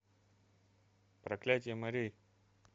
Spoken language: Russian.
проклятие морей